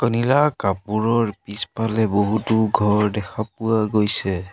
নীলা কাপোৰৰ পিছফালে বহুতো ঘৰ দেখা পোৱা গৈছে।